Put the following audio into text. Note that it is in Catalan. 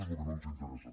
és el que no ens interessa